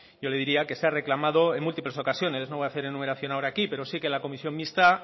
yo le diría que se ha reclamado en múltiples ocasiones no voy a hacer enumeración ahora aquí pero sí que la comisión mixta